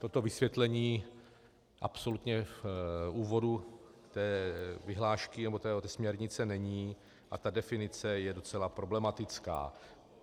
Toto vysvětlení absolutně v úvodu té vyhlášky, nebo té směrnice, není a ta definice je docela problematická.